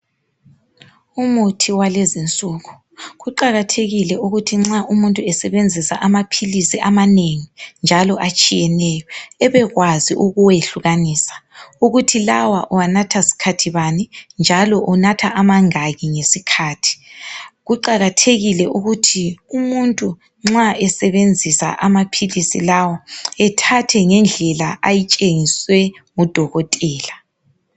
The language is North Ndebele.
Umuthi walezinsuku. Kuqakathekile ukuthi nxa umuntu esebenzisa amaphilisi amanengi njalo atshiyeneyo ebekwazi ukuwehlukanisa ukuthi lawa uwanatha sikhathi bani njalo unatha amangaki ngesikhathi . Kuqakathekile ukuthi umuntu nxa esebenzisa amaphilisi lawa ethathe ngendlela ayitshengiswe ngudokotela